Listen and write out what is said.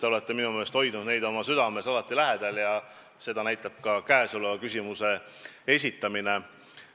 Te olete minu meelest hoidnud neid teemasid alati südames ja seda näitab ka selle küsimuse esitamine.